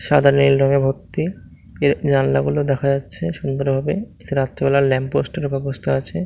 সাদা নীল রঙে ভর্তি এর জানলাগুলো দেখা যাচ্ছে সুন্দর ভাবে রাতের বেলা ল্যাম্প পোস্টের ব্যাবস্থা আছে।